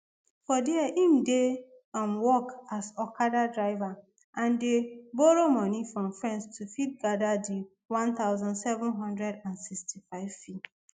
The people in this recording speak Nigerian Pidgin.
for dia im dey um work as okada driver and dey borrow money from friends to fit gada di one thousand seven hundred and sixty-five fee